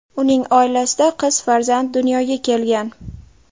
Uning oilasida qiz farzand dunyoga kelgan .